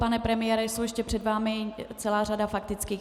Pane premiére, je ještě před vámi celá řada faktických.